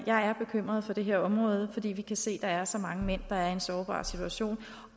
jeg er bekymret for det her område fordi vi kan se at der er så mange mænd der er i en sårbar situation